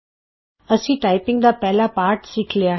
ਅਸੀਂ ਅਪਣਾ ਟਾਈਪਿੰਗ ਦਾ ਪਹਿਲਾ ਪਾਠ ਸਿੱਖ ਲਿਆ ਹੈ